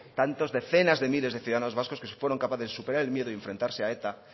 tantas decenas de miles de ciudadanos vascos que fueron capaces de superar el miedo y enfrentarse a eta